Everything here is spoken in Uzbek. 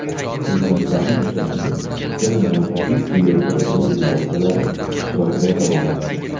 Prezidentlarning uchrashuvi ikkala mamlakatning kengaytirilgan delegatsiyalari ishtirokida davom etdi.